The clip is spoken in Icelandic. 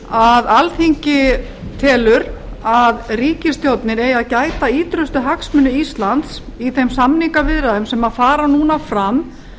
að alþingi telur að ríkisstjórnin eigi að gæta ýtrustu hagsmuna íslands í þeim samningaviðræðum sem nú fara fram